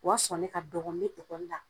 O y'a sɔrɔ ne ka dɔgɔn n be la.